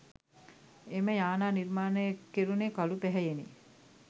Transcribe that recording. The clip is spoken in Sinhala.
එම යානා නිර්මාණය කෙරුනේ කළු පැහැයෙනි